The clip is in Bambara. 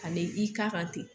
Kane i k'a kan ten